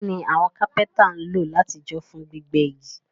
Kíni àwon carpenter n lo làtijọ́ fún gbígbẹ́ igi?